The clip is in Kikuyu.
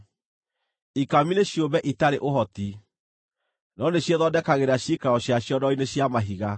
ikami nĩ ciũmbe itarĩ ũhoti, no nĩciĩthondekagĩra ciikaro ciacio ndwaro-inĩ cia mahiga;